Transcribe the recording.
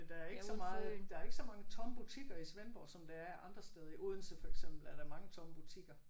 Men der er ikke så meget der er ikke så mange tomme butikker i Svendborg som der er andre steder i Odense for eksempel er der mange tomme butikker